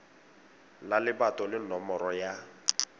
la lebato le nomoro ya